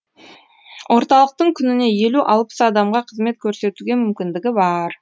орталықтың күніне елу алпыс адамға қызмет көрсетуге мүмкіндігі бар